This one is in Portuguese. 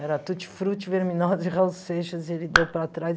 Era Tutti-frutti, Verminose, Raul Seixas, e ele deu para trás.